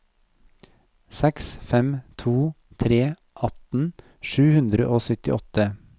seks fem to tre atten sju hundre og syttiåtte